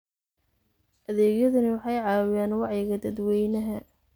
Adeegyadani waxay caawiyaan wacyiga dadweynaha.